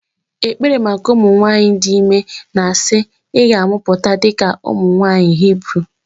ekpere maka ụmụ nwanyị dị ime na-asị "ị ga-amụpụta dịka ụmụ nwanyị Hibru"